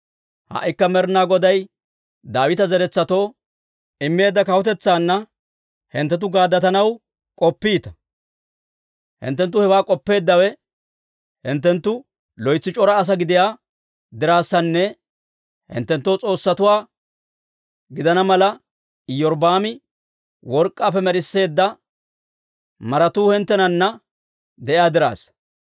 «Ha"ikka Med'inaa Goday Daawita zeretsatoo immeedda kawutetsaanna hinttenttu gaaddatanaw k'oppiita. Hinttenttu hewaa k'oppeeddawe hinttenttu loytsi c'ora asaa gidiyaa dirassanne hinttenttoo s'oossatuwaa gidana mala, Iyorbbaami work'k'aappe med'isseedda maratuu hinttenana de'iyaa dirassa.